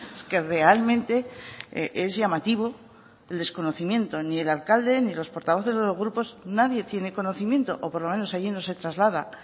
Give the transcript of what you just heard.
es que realmente es llamativo el desconocimiento ni el alcalde ni los portavoces de los grupos nadie tiene conocimiento o por lo menos allí no se traslada